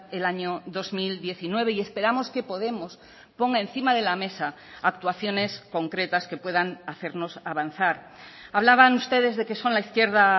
el año dos mil diecinueve y esperamos que podemos ponga encima de la mesa actuaciones concretas que puedan hacernos avanzar hablaban ustedes de que son la izquierda